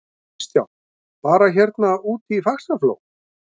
Kristján: Bara hérna úti í Faxaflóa?